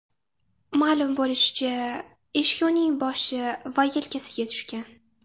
Ma’lum bo‘lishicha, eshik uning boshi va yelkasiga tushgan.